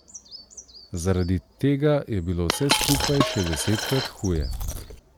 Zaradi tega je bilo vse skupaj še desetkrat huje.